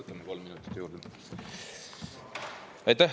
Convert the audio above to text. No võtame kolm minutit juurde.